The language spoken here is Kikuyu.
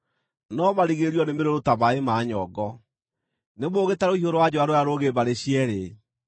no marigĩrĩrio nĩmũrũrũ ta maaĩ ma nyongo, nĩ mũũgĩ ta rũhiũ rwa njora rũrĩa rũũgĩ mbarĩ cierĩ.